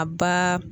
A ba